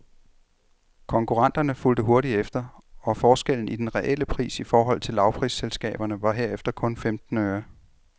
Konkurrenterne fulgte hurtigt efter, og forskellen i den reelle pris i forhold til lavprisselskaberne var herefter kun femten øre.